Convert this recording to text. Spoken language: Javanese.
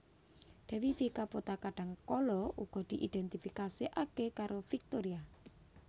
Dewi Vika Pota kadang kala uga diidentifikasike karo Viktoria